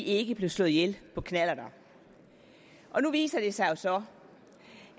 ikke blev slået ihjel på knallert nu viser det sig så